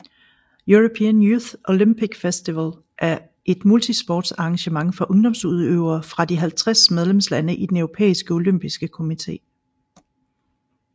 European Youth Olympic Festival er et multisportsarrangement for ungdomsudøvere fra de 50 medlemslande i den Europæiske olympiske komité